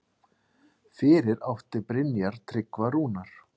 Fyrir átti Brynjar Tryggva Rúnar.